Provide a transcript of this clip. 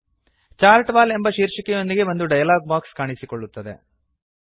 chart wall ಎಂಬ ಶೀರ್ಷಿಕೆಯೊಂದಿಗೆ ಒಂದು ಡಯಲಾಗ್ ಬಾಕ್ಸ್ ಕಾಣಿಸುತ್ತದೆ